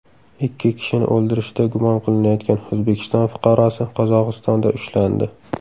Ikki kishini o‘ldirishda gumon qilinayotgan O‘zbekiston fuqarosi Qozog‘istonda ushlandi.